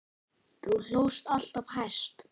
Þú hlóst alltaf hæst.